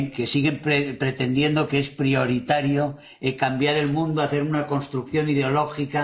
Siguen pretendiendo que es prioritario cambiar el mundo, hacer una construcción ideológica.